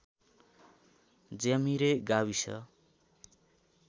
ज्यामिरे गाविस